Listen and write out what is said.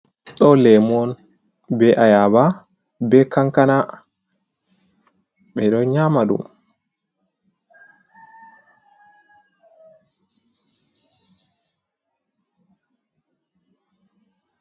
Ɗo lemu on be a yaba, be cankana, ɓeɗo nyama ɗum.